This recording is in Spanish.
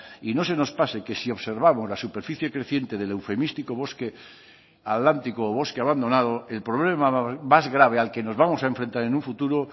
y no se nos pase que sí observamos la superficie creciente del eufemístico bosque atlántico o bosque abandonado el problema más grave al que nos vamos a enfrentar en un futuro